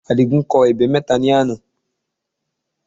Àdìgún kọ ebè mẹ́ta ní àná